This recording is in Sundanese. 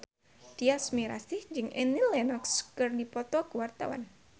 Tyas Mirasih jeung Annie Lenox keur dipoto ku wartawan